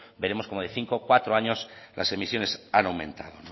veremos cómo de cinco cuatro años las emisiones han aumentado